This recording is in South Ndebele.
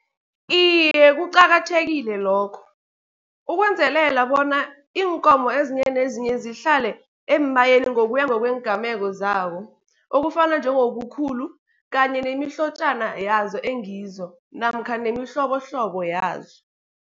Iye, kuqakathekile lokho ukwenzelela bona iinkomo ezinye nezinye zihlale eembayeni, ngokuya ngokweengameko zawo. Okufana njengobukhulu kanye nemihlotjana yazo engizo namkha nemihlobohlobo yazo.